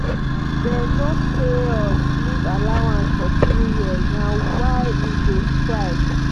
dey no pay us leave allowance for three years na why we dey strike.